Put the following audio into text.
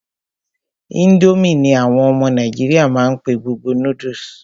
Ińdómì ní àwọn ọmọ nàìjíríà má n pé gbogbo noodles.